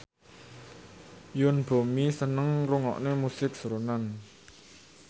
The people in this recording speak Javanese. Yoon Bomi seneng ngrungokne musik srunen